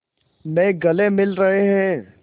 में गले मिल रहे हैं